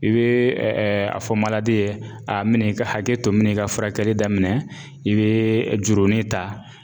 I be ɛ ɛ a fɔ maladi ye a n mi ne ka hakɛ to n min ne ka furakɛli daminɛ i bee jurunin ta